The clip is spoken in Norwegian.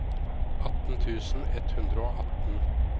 atten tusen ett hundre og atten